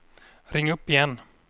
ring upp igen